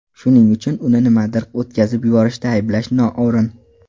Shuning uchun uni nimanidir o‘tkazib yuborishda ayblash noo‘rin.